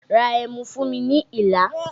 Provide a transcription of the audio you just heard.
Ra ẹmu fún mi ní Ìlá!